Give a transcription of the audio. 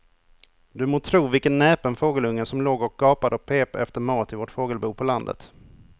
Du må tro vilken näpen fågelunge som låg och gapade och pep efter mat i vårt fågelbo på landet.